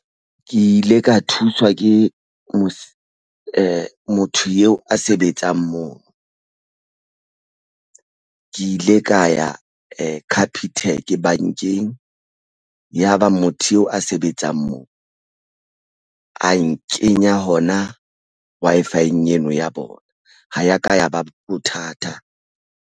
Ke ile ka thuswa ke moo motho a sebetsang moo ke ile ka ya capitec bankeng ya ba motho eo a sebetsang moo, a nkenya hona Wi-Fi-eng eno ya bona ho ya ka ya ba bothata.